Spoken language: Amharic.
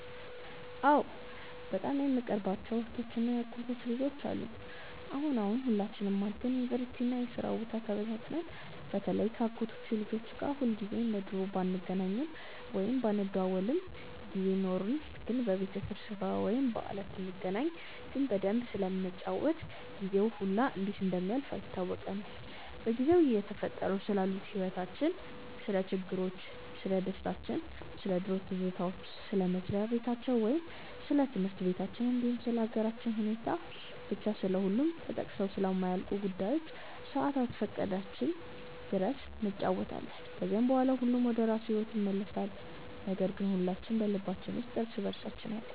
አዎ በጣም የምቀርባቸው እህቶች እና የአጎት ልጆች አሉኝ። አሁን አሁን ሁላችንም አድገን ዩኒቨርሲቲ እና የስራ ቦታ ተበታትነን በተለይ ከ አጎቶቼ ልጆች ጋር ሁልጊዜ እንደ ድሮ ባንገናኝም ወይም ባንደዋወልም ጊዜ ኖርን ግን በቤተሰብ ስብስብ ወይም በዓላት ስንገናኝ ግን በደንብ ስለምንጫወት ጊዜው ሁላ እንዴት እንደሚያልፍ አይታወቀንም። በጊዜው እየተፈጠሩ ስላሉት ህይወቲቻችን፣ ስለ ችግሮቻችን፣ ስለደስታችን፣ ስለ ድሮ ትዝታዎች፣ ስለ መስሪያ በታቸው ወይም ስለ ትምህርት በታችን እንዲሁም ስለ ሃገራችን ሁኔታ፤ ብቻ ስለሁሉም ተጠቅሰው ስለማያልቁ ጉዳዮች ሰአት እስከፈቀደችልን ድረስ እንጫወታለን። ከዛም በኋላ ሁሉም ወደራሱ ሂዎት ይመለሳል ነገር ግን ሁላችን በልባችን ውስጥ እርስ በእርሳችን አለን።